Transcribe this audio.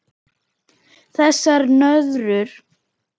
Þessar nöðrur!